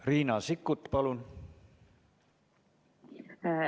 Riina Sikkut, palun!